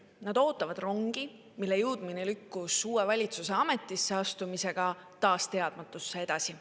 Nad ootavad rongi, mille jõudmine lükkus uue valitsuse ametisse astumisega taas teadmatusse edasi.